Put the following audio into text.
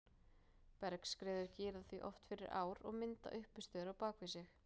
Bergskriður girða því oft fyrir ár og mynda uppistöður á bak við sig.